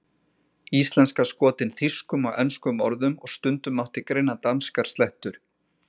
Íslenska skotin þýskum og enskum orðum og stundum mátti greina danskar slettur.